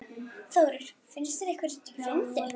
Þórir: Finnst ykkur þetta fyndið?